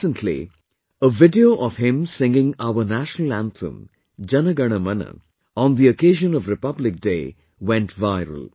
Recently, a video of him singing our National Anthem 'Jana Gana Mana' on the occasion of Republic Day went viral